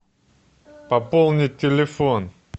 пополнить телефон